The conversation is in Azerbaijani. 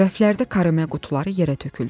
Rəflərdə karamel qutuları yerə töküldü.